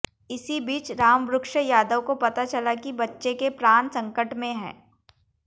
इसी बीच रामवृक्ष यादव को पता चला कि बच्चे के प्राण संकट में हैं